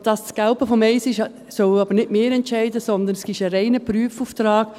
Ob dies das Gelbe vom Ei ist, sollen aber nicht wir entscheiden, vielmehr ist es ein reiner Prüfauftrag.